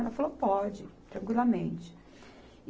Ela falou, pode, tranquilamente.